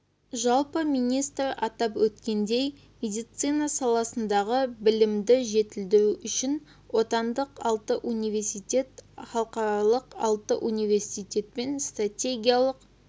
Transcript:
жалпы министр атап өткендей медицина саласындағы білімді жетілдіру үшін отандық алты университет халықаралық алты университетпен стратегиялық